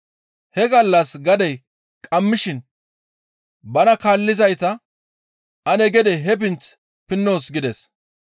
He gallas gadey qammishin bana kaallizayta, «Ane gede he pinth pinnoos» gides.